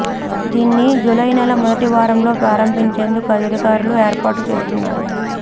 దీన్ని జూలై నెల మొదటి వారంలో ప్రారంభించేందుకు అధికారులు ఏర్పాట్లు చేస్తున్నారు